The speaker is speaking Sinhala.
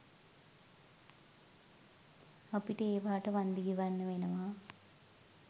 අපිට ඒවාට වන්දි ගෙවන්න වෙනවා?